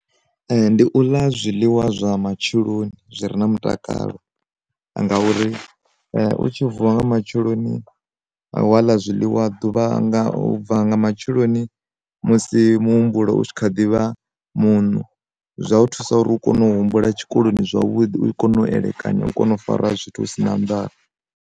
Ndi u ḽa zwiḽiwa zwa matsheloni zwi re na mutakalo, ngauri u tshi vuwa nga matsheloni a wala zwiliwa duvha u bva nga matsheloni musi muhumbulo u tshi kha ḓivha munu, zwa u thusa uri u kone u humbula tshikoloni zwavhuḓi u kone u elekanya u kone u fara zwithu hu si na ndavha.